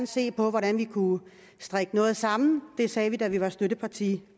se på hvordan vi kunne strikke noget sammen det sagde vi da vi var støtteparti